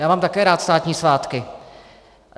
Já mám také rád státní svátky.